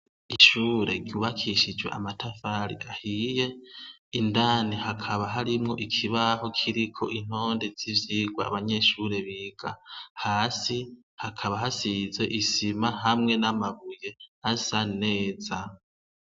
Ishure ryubakishijwe amatafari ahiye indani hakaba harimwo ikibaho kiriko intonde yivyirwa abanyeshure biga hasi hakaba hasize isima hamwe namabuye asa neza